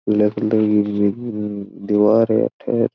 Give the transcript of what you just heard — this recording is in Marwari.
पीला कलर की दिवार है अठे --